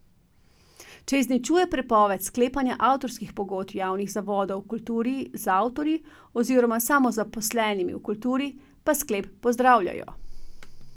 Če izničuje prepoved sklepanja avtorskih pogodb javnih zavodov v kulturi z avtorji oziroma samozaposlenimi v kulturi, pa sklep pozdravljajo.